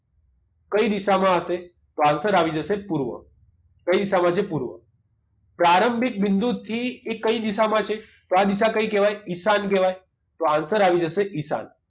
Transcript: કઈ દિશામાં હશે તો answer આવી જશે પૂર્વ કઈ દિશામાં છે પૂર્વ પ્રારંભિક બિંદુથી એ કઈ દિશામાં છે તો આ દિશા કઈ કહેવાય ઈશાન કહેવાય તો answer આવી જશે ઈશાન